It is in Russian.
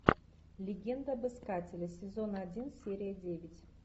легенда об искателе сезон один серия девять